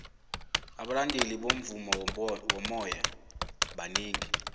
abalandeli bomvumo womoya banengi